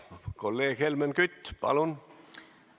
Kolleeg Helmen Kütt, palun!